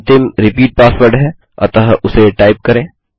अंतिम repeat password है अतः उसे टाइप करें